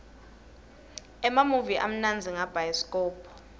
emamuvi amnandza ngabhayisikobho